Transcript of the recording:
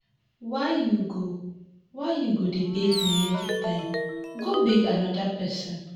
Why you go Why you go dey beg me everytime, go beg another person